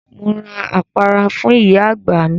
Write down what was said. Mo ra àpárá fún ìyá àgbà mi.